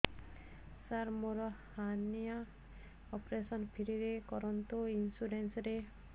ସାର ମୋର hernia operation free ରେ କରନ୍ତୁ ଇନ୍ସୁରେନ୍ସ ରେ